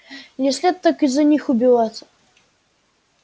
не след так из-за них убиваться